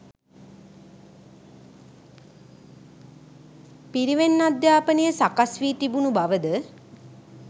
පිරිවෙන් අධ්‍යාපනය සකස්වී තිබුණු බවද